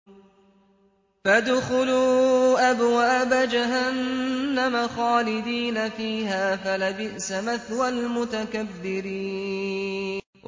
فَادْخُلُوا أَبْوَابَ جَهَنَّمَ خَالِدِينَ فِيهَا ۖ فَلَبِئْسَ مَثْوَى الْمُتَكَبِّرِينَ